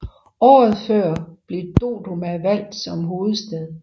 Året før blev Dodoma valgt som hovedstad